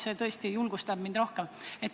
See tõesti julgustab mind rohkem.